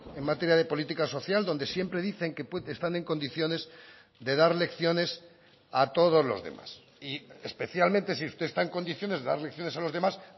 en materia de política social donde siempre dicen que están en condiciones de dar lecciones a todos los demás y especialmente si usted está en condiciones de dar lecciones a los demás